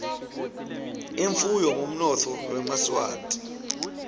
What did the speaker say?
imfuyo ngumnotfo wemaswati